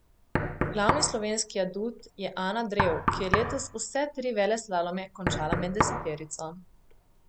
Glavni slovenski adut je Ana Drev, ki je letos vse tri veleslalome končala med deseterico.